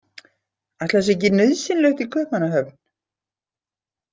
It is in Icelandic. Ætli það sé ekki nauðsynlegt í Kaupmannahöfn?